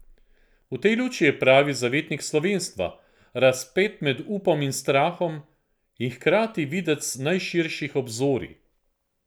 V tej luči je pravi zavetnik slovenstva, razpet med upom in strahom, in hkrati videc najširših obzorij.